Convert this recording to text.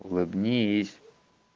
улыбнись